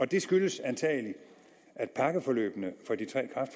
det skyldes antagelig at pakkeforløbene